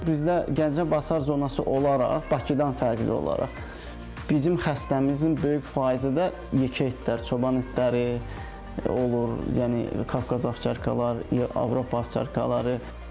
Bizdə Gəncə Basar zonası olaraq Bakıdan fərqli olaraq bizim xəstəmizin böyük faizi də yekə itlər, çoban itləri olur, yəni Qafqaz ovçarkalar, Avropa ovçarkaları.